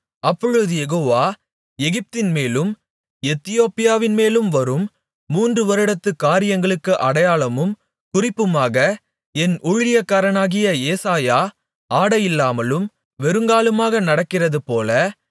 அப்பொழுது யெகோவா எகிப்தின்மேலும் எத்தியோப்பியாவின்மேலும் வரும் மூன்று வருடத்துக் காரியங்களுக்கு அடையாளமும் குறிப்புமாக என் ஊழியக்காரனாகிய ஏசாயா ஆடையில்லாமலும் வெறுங்காலுமாக நடக்கிறதுபோல